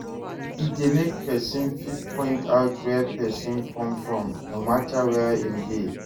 E de make persin fit point out where persin come from no matter where im de